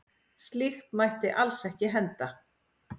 Slíkt mætti alls ekki henda.